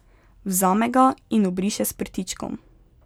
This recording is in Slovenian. Vzame ga in obriše s prtičkom.